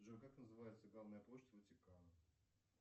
джой как называется главная площадь ватикана